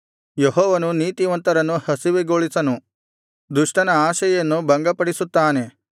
ಯೆಹೋವನು ನೀತಿವಂತರನ್ನು ಹಸಿವೆಗೊಳಿಸನು ದುಷ್ಟನ ಆಶೆಯನ್ನು ಭಂಗಪಡಿಸುತ್ತಾನೆ